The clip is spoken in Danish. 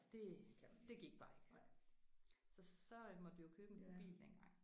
Det det gik bare ikke. Så så måtte vi jo købe en bil dengang